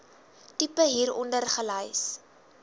tipe hieronder gelys